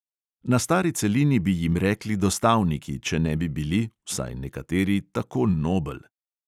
Na stari celini bi jim rekli dostavniki, če ne bi bili – vsaj nekateri – tako nobel.